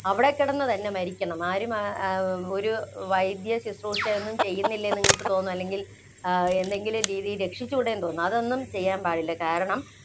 അവിടെത്തന്നെ കിടന്നു തന്നെ മരിക്കണം. ആരും വൈദ്യം ശുശ്രൂഷ ഒന്നും ചെയ്യുന്നില്ലെന്ന് നിങ്ങള്‍ക്ക് തോന്നും. അല്ലെങ്കില്‍ എന്തെങ്കിലും രീതിയില്‍ രക്ഷിച്ചൂടെ എന്ന് തോന്നും. അതൊന്നും ചെയ്യാന്‍ പാടില്ല. കാരണം,